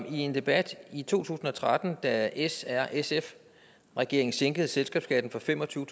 i en debat i to tusind og tretten da s r sf regeringen sænkede selskabsskatten fra fem og tyve